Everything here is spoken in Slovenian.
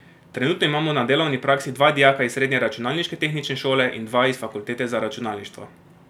Trenutno imamo na delovni praksi dva dijaka iz srednje računalniške tehnične šole in dva iz fakultete za računalništvo.